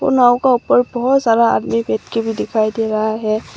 और नाव का ऊपर बहोत सारा आदमी बैठके भी दिखाई दे रहा है।